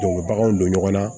Don bɛ baganw don ɲɔgɔn na